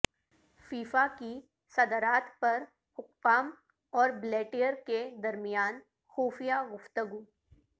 FIFA کی صدرات پر حکام اور بلیٹر کے درمیان خفیہ گفتگو